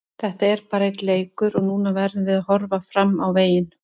Þetta er bara einn leikur og núna verðum við að horfa fram á veginn.